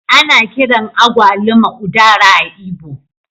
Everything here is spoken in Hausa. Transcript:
Ana kiran agwaluma Udara a'lgbo.